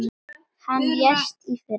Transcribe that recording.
Hann lést í fyrra.